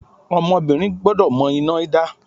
Ọmọbìnrin gbọ́dọ̀ mọ iná dá.